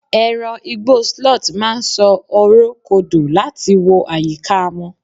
eran Igbo sloth ma n so ọrọ kodò lati wo ayika won